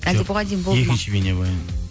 екінші бейнебаян